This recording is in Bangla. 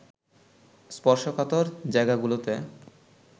স্পর্শকাতর জায়গাগুলোতে